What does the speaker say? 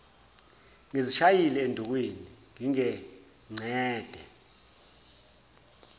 ngizishayile endukwini ngingengcede